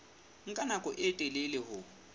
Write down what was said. nka nako e telele ho